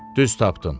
Düz tapdın.